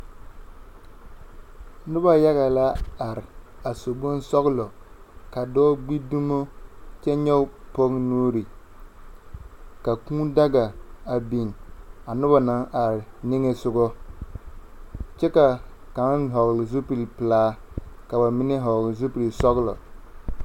Noba yaga la are a su bonsɔgelɔ. Ka dɔɔ gbi dumo kyɛ nyɔge pɔge nuuriŋ. Ka kūū daga a biŋ a noba naŋ are niŋe sogɔ, kyɛ ka kaŋa hɔɔle zupilpelaa ka ba mine hɔgele zupilsɔgɔlo.